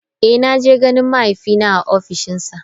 Eh naje ganin mahaifina a ofishinsa.